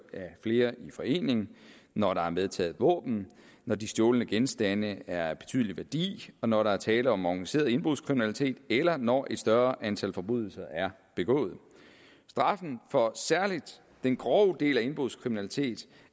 af flere i forening når der er medtaget våben når de stjålne genstande er af betydelig værdi og når der er tale om organiseret indbrudskriminalitet eller når et større antal forbrydelser er begået straffen for særlig den grove del af indbrudskriminalitet